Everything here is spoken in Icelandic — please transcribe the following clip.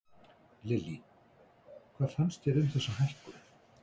Lillý: Hvað finnst þér um þessa hækkun?